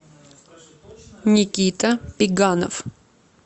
никита пеганов